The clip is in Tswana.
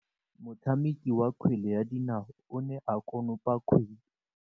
Motshameki wa kgwele ya dinaô o ne a konopa kgwele.